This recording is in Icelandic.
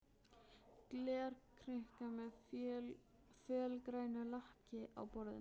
Glerkrukka með fölgrænu lakki á borðinu.